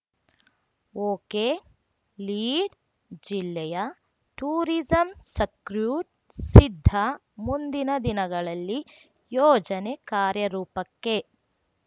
ಓಕೆಲೀಡ್‌ಜಿಲ್ಲೆಯ tourism circuit ಸಿದ್ಧ ಮುಂದಿನ ದಿನಗಳಲ್ಲಿ ಯೋಜನೆ ಕಾರ್ಯರೂಪಕ್ಕೆ